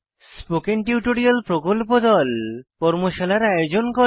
spoken tutorial প্রকল্প দল কর্মশালার আয়োজন করে